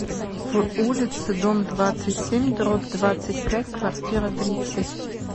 в улице дом двадцать семь дробь двадцать пять квартира тридцать